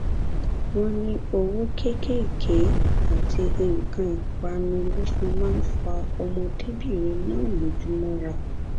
wọn ní owó kéékèèké àti nǹkan ìpanu ló fi máa ń fa ọmọdébìnrin náà lójú mọra